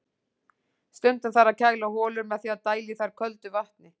Stundum þarf að kæla holur með því að dæla í þær köldu vatni.